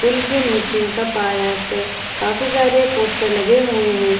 Pool के नीचे का पाया पे काफी सारे पोस्टर लगे हुए है।